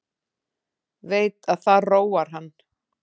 Veit að það róar hann.